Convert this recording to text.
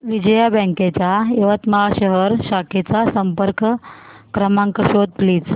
Vijaya bank च्या यवतमाळ शहर शाखेचा संपर्क क्रमांक शोध प्लीज